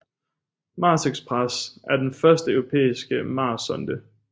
Mars Express er den første europæiske marssonde